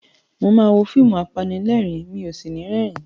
Mo máa wo fíìmù apanilérìn-ín, mi ò sì ní rẹ́rìn-ín.